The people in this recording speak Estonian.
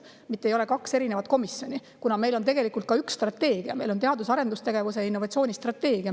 Siis ei ole kaks erinevat komisjoni, kuna meil on ka üks strateegia: teadus- ja arendustegevuse ning innovatsiooni strateegia.